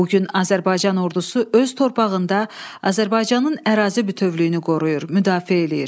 Bu gün Azərbaycan ordusu öz torpağında Azərbaycanın ərazi bütövlüyünü qoruyur, müdafiə eləyir.